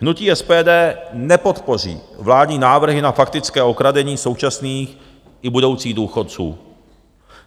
Hnutí SPD nepodpoří vládní návrhy na faktické okradení současných i budoucích důchodců.